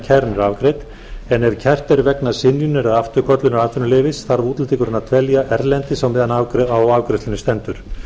er afgreidd en ef kært er vegna synjunar eða afturköllunar atvinnuleyfis þarf útlendingurinn að dvelja erlendis á meðan á afgreiðslunni stendur